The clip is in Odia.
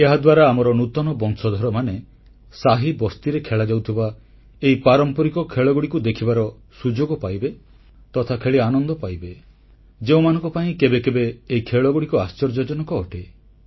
ଏହାଦ୍ୱାରା ଆମର ନୂତନ ବଂଶଧରମାନେ ସାହିବସ୍ତିରେ ଖେଳାଯାଉଥିବା ଏହି ପାରମ୍ପରିକ ଖେଳଗୁଡ଼ିକୁ ଦେଖିବାର ସୁଯୋଗ ପାଇବେ ତଥା ଖେଳି ଆନନ୍ଦ ପାଇବେ ଯେଉଁମାନଙ୍କ ପାଇଁ କେବେ କେବେ ଏହି ଖେଳଗୁଡ଼ିକ ଆଶ୍ଚର୍ଯ୍ୟଜନକ ଅଟେ